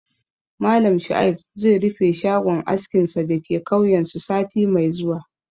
Malam Shuaib zai rufe shagon askinsa da ke kauyensu sati mai zuwa